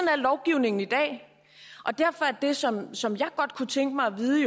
er lovgivningen i dag og derfor er det som som jeg godt kunne tænke mig at vide